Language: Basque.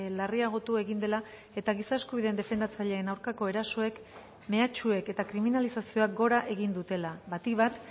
larriagotu egin dela eta giza eskubideen defendatzaileen aurkako erasoek mehatxuek eta kriminalizazioak gora egin dutela batik bat